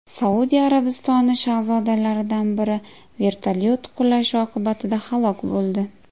Saudiya Arabistoni shahzodalaridan biri vertolyot qulashi oqibatida halok bo‘ldi.